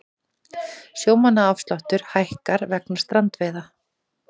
Sjómannaafsláttur hækkar vegna strandveiða